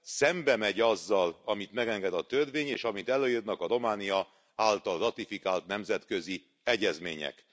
Szembe megy azzal, amit megenged a törvény, és amit előírnak a Románia által ratifikált nemzetközi egyezmények.